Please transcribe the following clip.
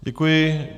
Děkuji.